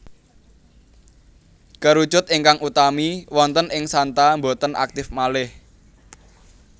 Kerucut ingkang utami wonten ing santa boten aktif malih